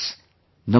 Namaskar